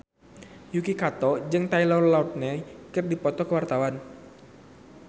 Yuki Kato jeung Taylor Lautner keur dipoto ku wartawan